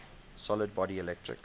solid body electric